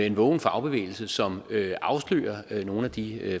en vågen fagbevægelse som afslører nogle af de